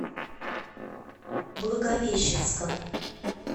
благовещенском